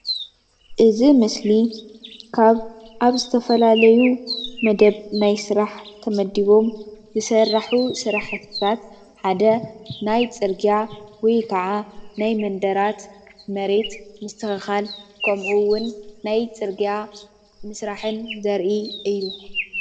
እዚ ምስሊ ካብ አብ ዝተፈላለየዩ መደብ ናይ ስራሕ ተመዲቦም ዝስራሑ ስራሕትታት ሓደ ናይ ፅርግያ ወይ ካዓ ናይ መንደራት መሬት ምስትክካል ከምኡ እውን ናይ ፅርግያ ምስራሕን ዘርኢ እዩ፡፡